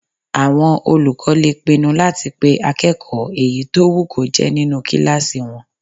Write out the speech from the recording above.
Àwọn olùkọ́ lè pinnu láti pé akẹ́kọ̀ọ́ èyí tó wù kó jẹ́ nínu kílásì wọn